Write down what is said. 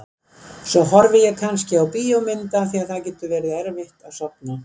Svo horfi ég kannski á bíómynd af því að það getur verið erfitt að sofna.